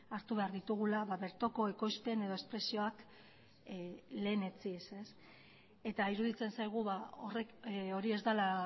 hartu behar ditugula bertoko ekoizpen edo espresioak lehenetsiz eta iruditzen zaigu horrek hori ez dela